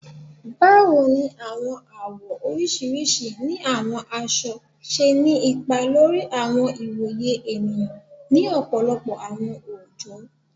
Báwo ní àwọn àwọ̀ oríṣiríṣi ni àwọn aṣọ ṣe ni ipa lórí àwọn ìwòye ènìyàn ni ọ̀pọ̀lọpọ̀ àwọn oojọ?